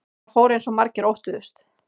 Það fór eins og margir óttuðust